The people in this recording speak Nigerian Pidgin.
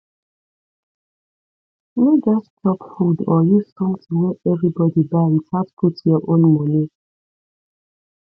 no just chop food or use something wey everybody buy without put your own money